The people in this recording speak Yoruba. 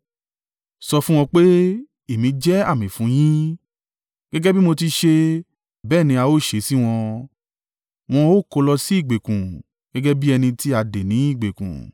Sọ fún wọn pé, Èmi jẹ́ àmì fún yín’. “Gẹ́gẹ́ bí mo ti ṣe, bẹ́ẹ̀ ni a ó ṣe sí wọn. Wọn ó kó lọ sí ìgbèkùn. Gẹ́gẹ́ bí ẹni ti a dè ní ìgbèkùn.